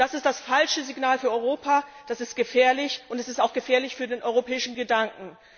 Das ist das falsche Signal für Europa, das ist gefährlich, und es ist auch gefährlich für den europäischen Gedanken.